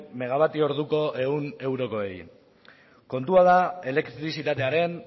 megabatio orduko cien eurokoei kontua da elektrizitatearen